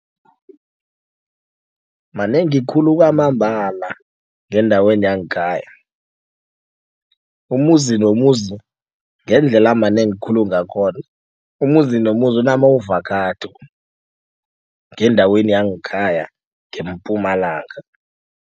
Manengi khulu kwamambala ngendaweni yangekhaya. Umuzi nomuzi ngendlela manengi khulu ngakhona umuzi nomuzi unama-avokhado ngendaweni yangekhaya ngeMpumalanga.